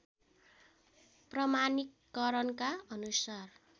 प्रमाणीकरणका अनुसार